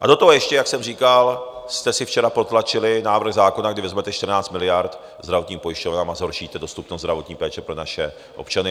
A do toho ještě, jak jsem říkal, jste si včera protlačili návrh zákona, kdy vezmete 14 miliard zdravotním pojišťovnám a zhoršíte dostupnost zdravotní péče pro naše občany.